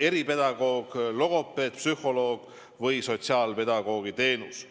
eripedagoogi, logopeedi, psühholoogi või sotsiaalpedagoogi teenus.